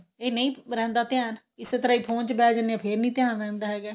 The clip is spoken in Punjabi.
ਇਹ ਨਹੀਂ ਰਹਿੰਦਾ ਧਿਆਨ ਇਸੀ ਤਰ੍ਹਾਂ ਈ phone ਚ ਬਿਹ ਜਾਨੇ ਆਂ ਫੇਰ ਨੀ ਧਿਆਨ ਰਹਿੰਦਾ ਹੈਗਾ